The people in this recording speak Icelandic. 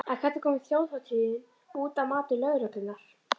En hvernig kom þjóðhátíðin út, að mati lögreglunnar?